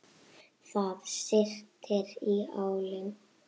Það syrtir í álinn.